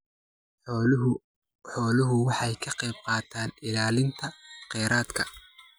Xooluhu waxay ka qaybqaataan ilaalinta kheyraadka.